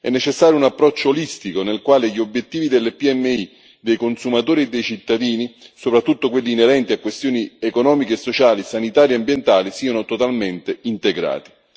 È necessario un approccio olistico, nel quale gli obiettivi delle PMI, dei consumatori e dei cittadini soprattutto quelli inerenti a questioni economiche, sociali, sanitarie e ambientali siano totalmente integrati.